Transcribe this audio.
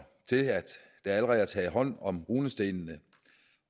til at der allerede er taget hånd om runestenene